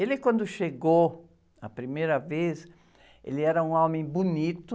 Ele quando chegou, a primeira vez, ele era um homem bonito.